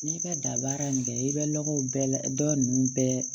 N'i bɛ da baara in kɛ i bɛ lɔgɔw bɛɛ dɔ ninnu bɛɛ